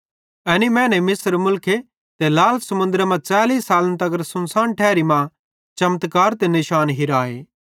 एनी मैने मिस्र मुलखे ते लाल समुन्द्रे मां 40 सालन तगर सुनसान ठैरी मां चमत्कार ते निशान हिराए